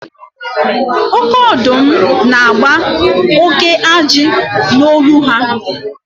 Oke ọdụm na-agba oke ajị n'olu ha.